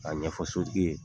Ka ɲɛfɔ sotigi ye